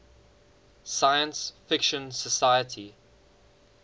science fiction society